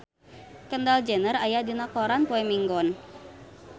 Kendall Jenner aya dina koran poe Minggon